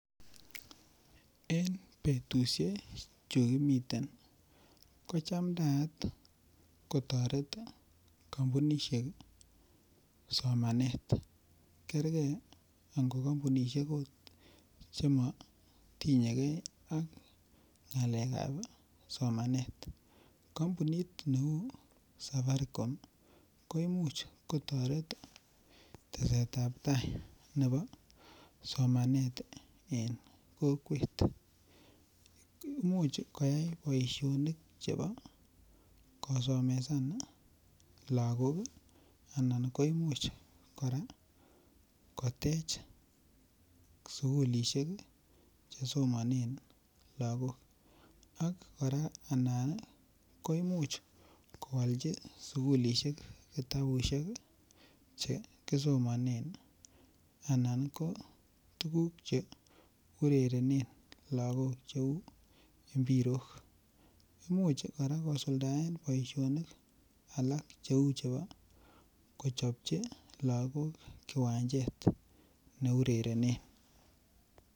En betushek chukimiten ko chamdayat kotoret kompunishek somanet kerge nko kompunishek ot chemotinyegee ak ngalekab somanet. Kompunit neu safaricom ko imuch kotoret tesetab tai nebo somanet en kokwet, imuch koyai boishonik chebo kosomesan lokok anan ko imuch koraa kotech sukulishek chesomonen lokok ak koraa anan ko imuch kwolji sukulishek kitabushek chekisomonen anan ko tukuk che urerenen lokok cheu imbirok. Imuch koraa kosuldae boishoni alak cheu chebo kochobji lokok kiwanchet neurerenen.